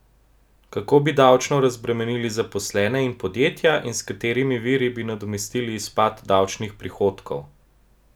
Kako bi davčno razbremenili zaposlene in podjetja in s katerimi viri bi nadomestili izpad davčnih prihodkov?